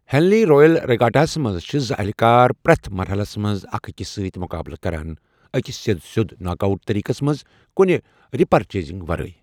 ہنلی Royal Regatta ہَس منٛز چھِ زٕ اہلِہ کار پرٮ۪تھ مَرحَلس منٛز اکھ أکس سۭتۍ مُقابلہٕ کران، أکِس سیٚد سیوٚد ناک آوٹ طٔریقس منٛز، کُنہِ ریپیچیز ورٲے۔